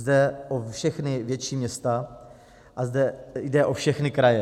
Jde o všechna větší města a zde jde o všechny kraje.